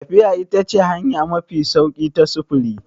Tafiya ita ce hanya mafi sauƙi ta sufuri.